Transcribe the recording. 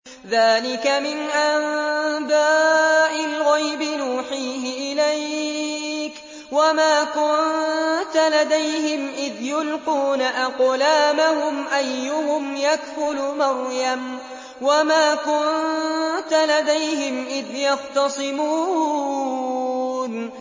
ذَٰلِكَ مِنْ أَنبَاءِ الْغَيْبِ نُوحِيهِ إِلَيْكَ ۚ وَمَا كُنتَ لَدَيْهِمْ إِذْ يُلْقُونَ أَقْلَامَهُمْ أَيُّهُمْ يَكْفُلُ مَرْيَمَ وَمَا كُنتَ لَدَيْهِمْ إِذْ يَخْتَصِمُونَ